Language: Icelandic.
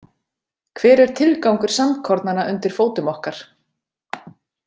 Hver er tilgangur sandkornanna undir fótum okkar?